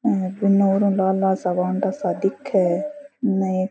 यह पूनो लाल लाल सा वांडा सा दिखे है न --